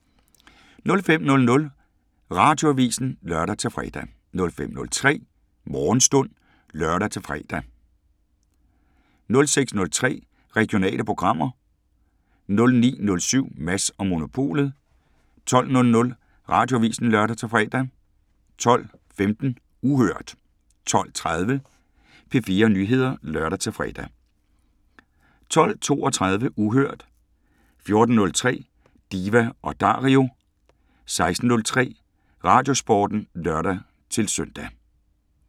05:00: Radioavisen (lør-fre) 05:03: Morgenstund (lør og man-fre) 06:03: Regionale programmer 09:07: Mads & Monopolet 12:00: Radioavisen (lør-fre) 12:15: Uhørt 12:30: P4 Nyheder (lør-fre) 12:32: Uhørt 14:03: Diva & Dario 16:03: Radiosporten (lør-søn)